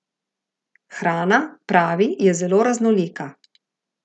Hrana, pravi, je zelo raznolika.